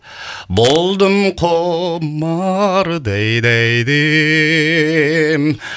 болдым құмар дәй дәй дім